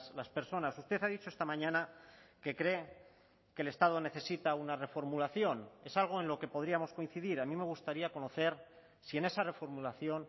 las personas usted ha dicho esta mañana que cree que el estado necesita una reformulación es algo en lo que podríamos coincidir a mí me gustaría conocer si en esa reformulación